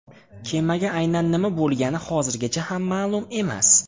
Kemaga aynan nima bo‘lgani hozirgacha ham ma’lum emas.